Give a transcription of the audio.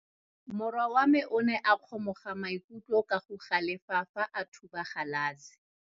Morwa wa me o ne a kgomoga maikutlo ka go galefa fa a thuba galase.